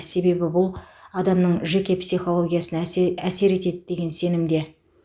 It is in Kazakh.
себебі бұл адамның жеке психологиясына әсер е әсер етеді деген сенімде